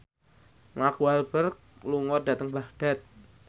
Mark Walberg lunga dhateng Baghdad